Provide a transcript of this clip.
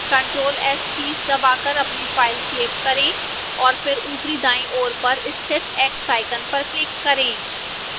ctrl + s keys दबाकर अपनी file save करें और फिर ऊपरी दाईं ओर पर स्थित x आइकन पर क्लिक करें